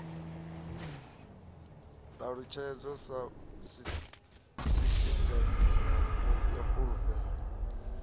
ṱalutshedzwa sa sisiṱeme ya fulufhelo